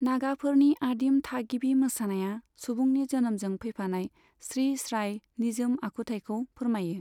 नागाफोरनि आदिम थागिबि मोसानाया सुबुंनि जोनोमजों फैफानाय स्रि स्राय निजोम आखुथाइखौ फोरमायो।